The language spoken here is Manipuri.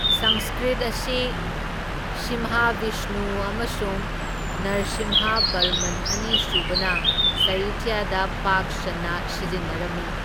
ꯁꯪꯁꯀ꯭ꯔꯤꯠ ꯑꯁꯤ ꯁꯤꯝꯍꯥꯕꯤꯁꯅꯨ ꯑꯃꯁꯨꯡ ꯅꯔꯁꯤꯝꯍꯥꯕꯔꯃꯟ ꯑꯅꯤ ꯁꯨꯕꯅ ꯁꯥꯍꯤꯇ꯭ꯌꯗ ꯄꯥꯛ ꯁꯟꯅ ꯁꯤꯖꯤꯟꯅꯔꯝꯃꯤ꯫